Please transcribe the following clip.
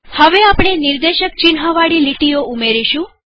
હવે આપણે નિર્દેશક ચિન્હ વાળી લીટીઓ ઉમેરીશું